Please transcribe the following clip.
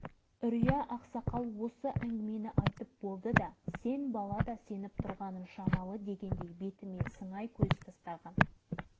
бірақ бұл шын мәнінде нағыз атом бомбасы екендігіне күмәнданғаным жоқ әйтпесе бізге сонау америкадан әкеліп біреу